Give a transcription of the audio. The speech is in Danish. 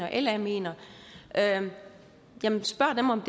eller la mener spørg dem om